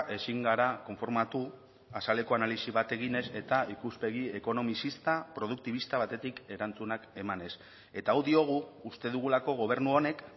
ezin gara konformatu azaleko analisi bat eginez eta ikuspegi ekonomizista produktibista batetik erantzunak emanez eta hau diogu uste dugulako gobernu honek